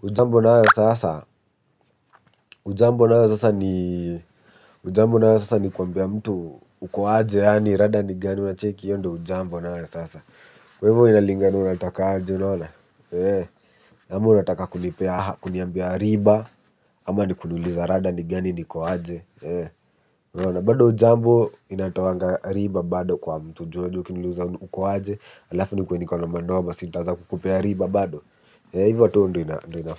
hujambo nayo sasa, hujambo nayo sasa ni hujambo nayo sasa ni kuambia mtu ukoaje. Yani rada ni gani, unacheki hiyo ndio hujambo nayo sasa. Kwa hivyo inalingana unatakaje unaona ama unataka kunipea kuniambia riba. Ama ni kuniuliza rada ni gani niko aje bado hujambo inatoanga riba bado kwa mtu ju unajua ukiniuliza uko aje alafu nikuwe niko na manoa si nitaanza kukupea riba bado hivo tu ndio inafaa.